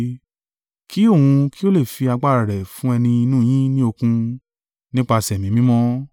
Kí òun kí ó lè fi agbára rẹ̀ fún ẹni inú yín ní okun, nípasẹ̀ Ẹ̀mí Mímọ́.